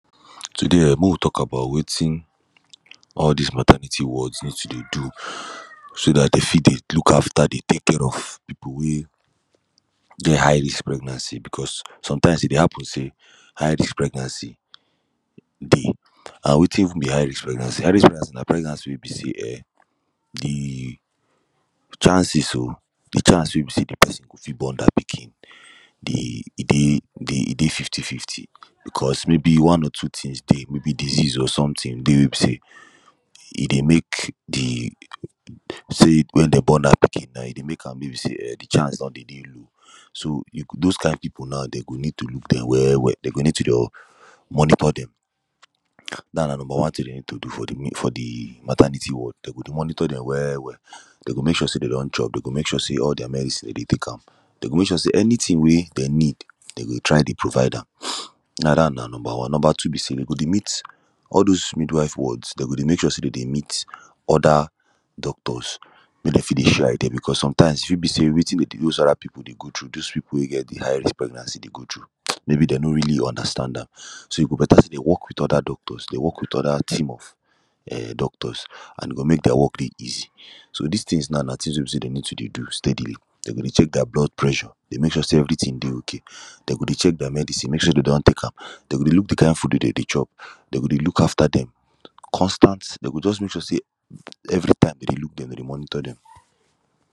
Today um mak we tok about wetin all dis maternity wards use to do so dat dey fit dey look after dey take care of people wey get high risk pregnancy becos sometimes e dey happen say high risk pregnancy dey an wetin even be high risk pregnancy high risk pregnancy na pregnancy wey be say um de chances o de chance wey be say de person go fit born dat pikin dey e dey e dey fifty fifty because maybe one or two tins dey maybe disease or sometin dey wey be say he dey make de say wen dem born dat pikin e dey make am wey be say de chance don dey dey low so those kind people now dem go need to look dem well well dem go need to dey monitor dem dat na number tin dem go need to do for the maternity ward dem go dey monitor dem well well dem go mek sure say dem don chop dem go mek sure say all dia medicine dem dey Tek am dem go mek sure say anytin wey dem need dem dey try dey provide am now dat na number one number two be say dem go dey meet all those mid wife wards dem go dey mek sure say dem dey meet oda doctors make dem fit dey show how e dey becos sometimes e fit be say wetin dis other people dey go through dis people wey get de high risk pregnancy dey go through maybe dem no really understand am so e go beta say dem work wit oda doctors dem work wit other team of doctors and e go make their work dey easy so dis tins now na tins wey be say dem need to dey do steadily dem go dey check dia blood pressure dey mek sure say everytin dey okay dem go dey check dia medicine mek sure say dey don tek am dem go dey look de kind food wey dem go dey chop dem go dey look after dem constant dem go just mek sure say everytime dem dey look dem dey monitor dem.